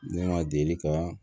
Ne ma deli ka